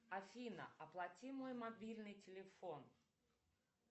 афина оплати мой мобильный телефон